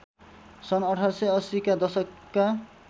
सन् १८८० का दशकका